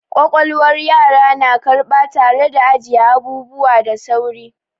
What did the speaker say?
Ƙwaƙwalwar yara na karɓa tare da ajiye abubuwa da sauri.